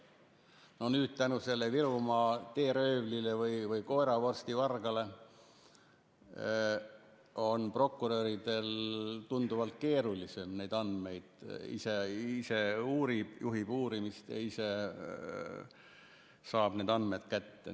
No nüüd tänu sellele Virumaa teeröövlile või koeravorsti vargale on prokuröridel tunduvalt keerulisem neid andmeid saada: et ise uurib, juhib uurimist ja ise saab need andmed kätte.